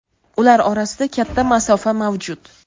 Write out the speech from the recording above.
Ular orasida katta masofa mavjud.